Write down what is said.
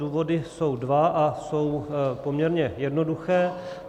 Důvody jsou dva a jsou poměrně jednoduché.